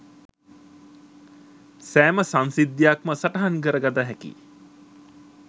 සෑම සංසිද්ධියක්ම සටහන් කර ගත හැකි